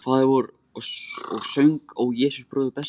Faðirvorið og söng Ó Jesús bróðir besti.